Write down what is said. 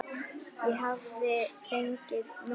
Ég hafði fengið nóg.